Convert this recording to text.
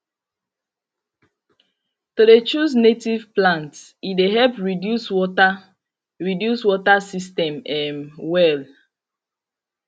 to de choose native plant e de help reduce water reduce water system um well